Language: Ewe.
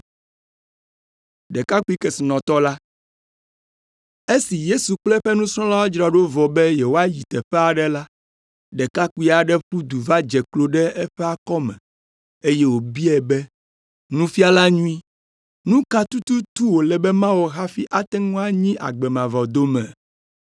Esi Yesu kple eƒe nusrɔ̃lawo dzra ɖo vɔ be yewoayi teƒe aɖe la, ɖekakpui aɖe ƒu du va dze klo ɖe eƒe akɔme, eye wòbiae be, “Nufiala nyui, nu ka tututu wòle be mawɔ hafi ate ŋu anyi agbe mavɔ dome?”